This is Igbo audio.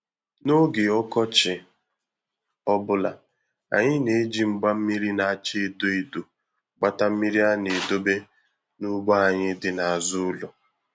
N'oge ọkọchi ọbụla, anyị na-eji mgba mmiri na-acha edo edo gbata mmiri a ga-edobe n'ugbo anyị dị n'azụ ụlọ.